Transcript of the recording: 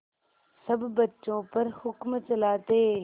सब बच्चों पर हुक्म चलाते